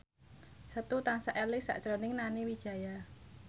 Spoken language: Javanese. Setu tansah eling sakjroning Nani Wijaya